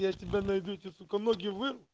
я тебя найду сука я тебе ноги вырву